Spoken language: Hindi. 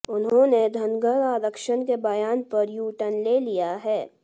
उन्होंने धनगर आरक्षण के बयान पर यू टर्न ले लिया है